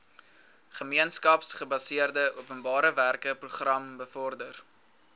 gemeenskapsgebaseerde openbarewerkeprogram bevorder